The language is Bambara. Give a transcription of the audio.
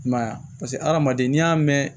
I m'a ye a paseke hadamaden n'i y'a mɛn